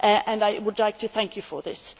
I would like to thank you for this.